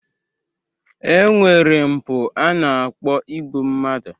E nwere mpụ a na-akpọ igbu mmadu.